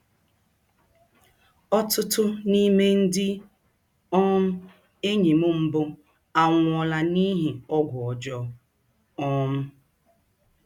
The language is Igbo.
Ọtụtụ n’ime ndị um enyi m mbụ anwụọla n’ihi ọgwụ ọjọọ. um